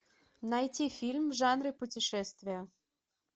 найти фильм в жанре путешествия